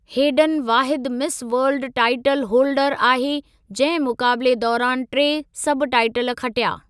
Hayden वाहिदु Miss World title holder आहे जंहिं मुक़ाबिले दौरानि टे सब टाईटल खटिया।